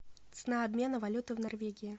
цена обмена валюты в норвегии